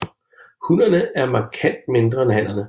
Hunnerne er markant mindre end hannerne